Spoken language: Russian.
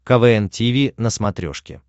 квн тиви на смотрешке